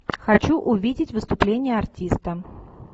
хочу увидеть выступление артиста